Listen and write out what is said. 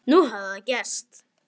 Nú hafði það gerst.